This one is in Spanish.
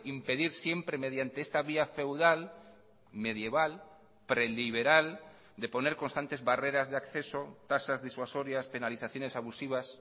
impedir siempre mediante esta vía feudal medieval preliberal de poner constantes barreras de acceso tasas disuasorias penalizaciones abusivas